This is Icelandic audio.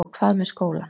Og hvað með skólann?